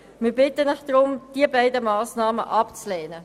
Deshalb bitten wir Sie, diese beiden Massnahmen abzulehnen.